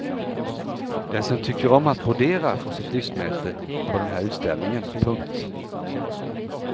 Den som tycker om att brodera får sitt lystmäte på den här utställningen. punkt